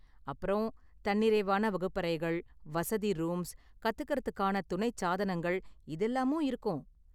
அப்புறம், தன்னிறைவான வகுப்பறைகள், வசதி ரூம்ஸ், கத்துக்கிறதுக்கான துணைச் சாதனங்கள் இதெல்லாமும் இருக்கும்.